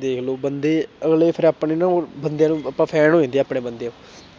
ਦੇਖ ਲਓ ਬੰਦੇ ਅਗਲੇ ਫਿਰ ਆਪਣੇ ਨਾ ਉਹ ਬੰਦੇ ਨੂੰ ਆਪਾਂ fan ਹੋ ਜਾਂਦੇ ਆ ਆਪਣੇ ਬੰਦੇ